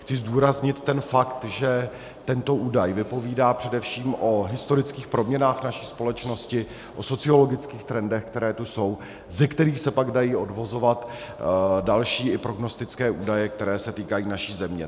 Chci zdůraznit ten fakt, že tento údaj vypovídá především o historických proměnách naší společnosti, o sociologických trendech, které tu jsou, ze kterých se pak dají odvozovat další, i prognostické údaje, které se týkají naší země.